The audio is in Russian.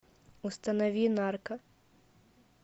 установи нарка